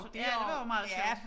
Ja det var også meget sjovt